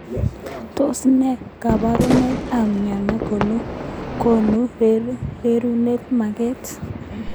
Tos ne kabaruneik ab mnyeni konu rerunet maget.